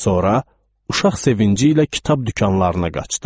Sonra uşaq sevinci ilə kitab dükanlarına qaçdım.